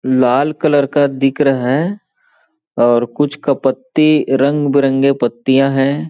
लाल colour का दिख रहा है और कुछ कपत्ती रंग बिरंगे पत्तियां हैं।